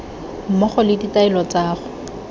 mmogo le ditaelo tsa go